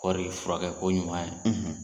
Kɔɔri, fura kɛ ko ɲuman yɛ.